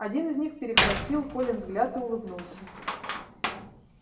один из них перехватил колин взгляд и улыбнулся